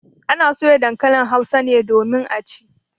Ana soya dankalin Hausa domin a ci.